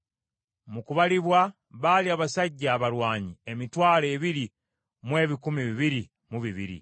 Mu kubalibwa baali abasajja abalwanyi emitwalo ebiri mu ebikumi bibiri mu bibiri.